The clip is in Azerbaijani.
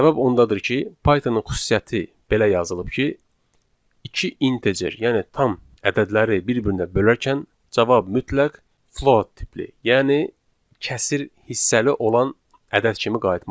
Səbəb ondadır ki, Pythonın xüsusiyyəti belə yazılıb ki, iki integer, yəni tam ədədləri bir-birinə bölərkən cavab mütləq float tipli, yəni kəsr hissəli olan ədəd kimi qayıtmalıdır.